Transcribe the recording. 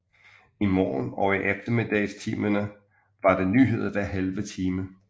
I morgen og eftermiddagstimerne var der nyheder hver halve time